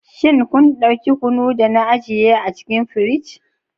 Shin kun dauki kunu da na ajiye a cikin firij?